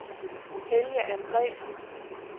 Helge Andresen